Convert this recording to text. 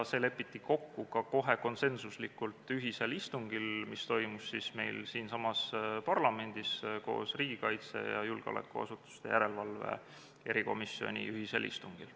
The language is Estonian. See lepiti kohe konsensuslikult kokku ühisel istungil, mis toimus siinsamas parlamendis, riigikaitsekomisjoni ja julgeolekuasutuste järelevalve erikomisjoni ühisel istungil.